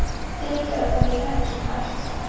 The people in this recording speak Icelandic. Fyrirgefðu þó ég drekki svona ört.